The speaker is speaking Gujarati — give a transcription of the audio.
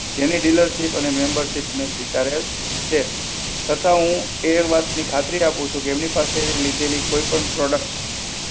જેની dealership અને membership મેં સ્વીકારેલ છે. તથા હું એ વાતની ખાતરી આપું છું કે, એમની પાસેથી લીધેલી કોઈ પણ products